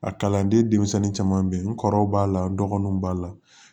A kalanden denmisɛnnin caman bɛ yen n kɔrɔw b'a la n dɔgɔninw b'a la